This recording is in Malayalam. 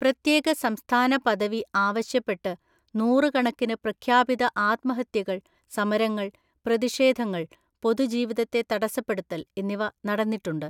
പ്രത്യേക സംസ്ഥാന പദവി ആവശ്യപ്പെട്ട് നൂറുകണക്കിന് പ്രഖ്യാപിത ആത്മഹത്യകൾ, സമരങ്ങൾ, പ്രതിഷേധങ്ങൾ, പൊതുജീവിതത്തെ തടസ്സപ്പെടുത്തൽ എന്നിവ നടന്നിട്ടുണ്ട്.